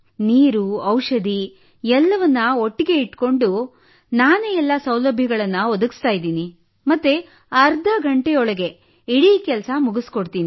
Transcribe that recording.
ನೀರು ಔಷಧಿ ಎಲ್ಲವನ್ನು ಒಟ್ಟಿಗೇ ಇಟ್ಟುಕೊಂಡು ನಾನೇ ಎಲ್ಲಾ ಸೌಲಭ್ಯಗಳನ್ನು ಒದಗಿಸುತ್ತಿದ್ದೇನೆ ಮತ್ತು ಅರ್ಧ ಗಂಟೆಯೊಳಗೆ ಇಡೀ ಕೆಲಸ ಮುಗಿಸಿಕೊಡುತ್ತೇನೆ